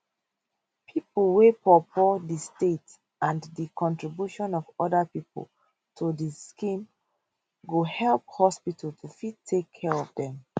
pipo wey poorpoor di state and di contribution of oda pipo to di scheme go help hospital to fit take care of dem